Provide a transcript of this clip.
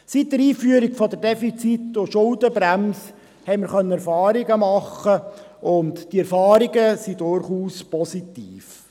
Seit der Einführung der Defizitschuldenbremse konnte man Erfahrungen sammeln, und diese Erfahrungen sind durchaus positiv.